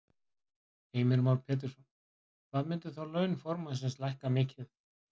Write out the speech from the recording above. Heimir Már Pétursson: Hvað myndu þá laun formannsins lækka mikið?